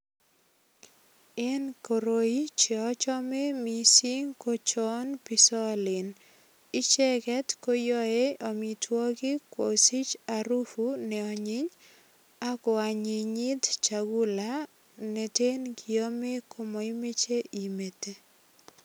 En koroi, che achamei mising ko chopisalen. Icheget koyae amitwogik kosich arufu ne anyiny ak koanyinyit chagula nete ngiame ko maimeche imete.